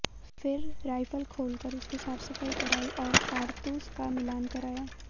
फिर राइफल खोल कर उसकी साफ़ सफाई करायी और कारतूस का मिलान कराया